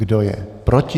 Kdo je proti?